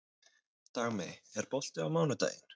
Dagmey, er bolti á mánudaginn?